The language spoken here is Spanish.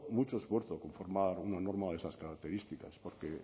mucho esfuerzo conformar una norma de esas características porque